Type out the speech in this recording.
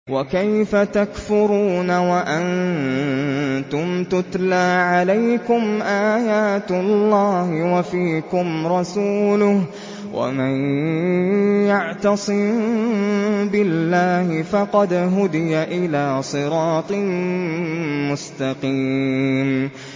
وَكَيْفَ تَكْفُرُونَ وَأَنتُمْ تُتْلَىٰ عَلَيْكُمْ آيَاتُ اللَّهِ وَفِيكُمْ رَسُولُهُ ۗ وَمَن يَعْتَصِم بِاللَّهِ فَقَدْ هُدِيَ إِلَىٰ صِرَاطٍ مُّسْتَقِيمٍ